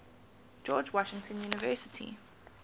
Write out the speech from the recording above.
george washington university